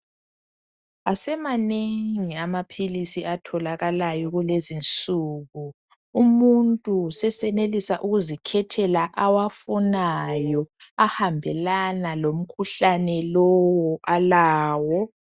Asemanengi amaphilisi atholakalayo kulezinsuku. Umuntu sesenelisa ukuzikhethela awafunayo, ahambelana lomkhuhlane lowo alawo.